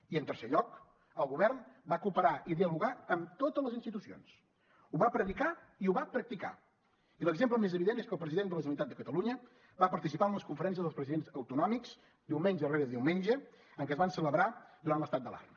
i en tercer lloc el govern va cooperar i dialogar amb totes les institucions ho va predicar i ho va practicar i l’exemple més evident és que el president de la generalitat de catalunya va participar en les conferències dels presidents autonòmics diumenge rere diumenge en què es van celebrar durant l’estat d’alarma